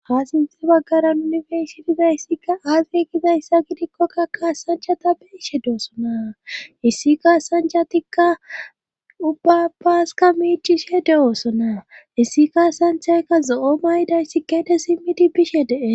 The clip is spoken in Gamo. Ha sinti baggaran unifersitizayssika aazye gizayssa gidikkokka kaasanchata beishe deosona issi kaasanchatikka ubbapaaska miicishe de7oosona issi kaasanthayka zo7o mayday si keete simmidi bishe dees.